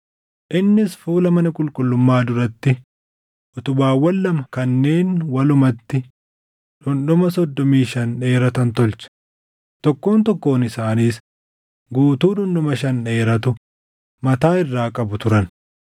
Innis fuula mana qulqullummaa duratti utubaawwan lama kanneen walumatti dhundhuma soddomii shan dheeratan tolche; tokkoon tokkoon isaaniis guutuu dhundhuma shan dheeratu mataa irraa qabu turan.